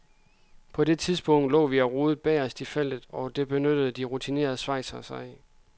På det tidspunkt lå vi og rodede bagerst i feltet, og det benyttede de rutinerede schweizere sig af.